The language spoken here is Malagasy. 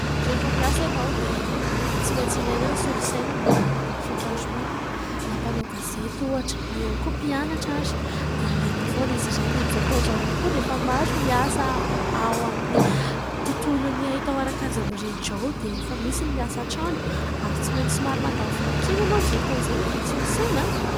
Rehefa miasa ianao dia tsy maintsy ilaina ny solosaina mba hanaovana ny fikarohana ; na mpanao gazety ohatra na ihany koa mpianatra aza dia ilaina foana izy ireny. Amin'izao fotoana izao ihany koa dia efa maro ny asa ao amin'ny tontolon'ny haitao ara-kajy mirindra ao dia efa misy ny miasa an-trano ary tsy maintsy somary mandany vola kely ianao amin'izay fotoana izay mividy solosaina.